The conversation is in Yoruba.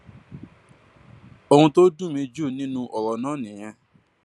ohun tó dùn mí jù nínú ọrọ náà nìyẹn